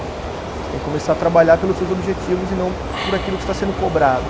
Você tem que começar a trabalhar pelos seus objetivos e não por aquilo que está sendo cobrado.